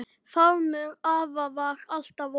Faðmur afa var alltaf opinn.